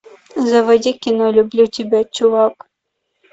заводи кино люблю тебя чувак